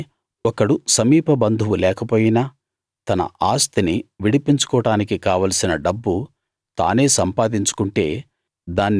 అయితే ఒకడు సమీప బంధువు లేకపోయినా తన ఆస్తిని విడిపించుకోడానికి కావలసిన డబ్బు తానే సంపాదించుకుంటే